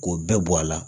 K'o bɛɛ bɔ a la